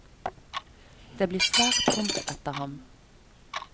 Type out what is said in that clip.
Det blir svært tomt etter ham.